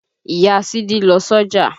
Ìya Sídí ń lọ sọ́jà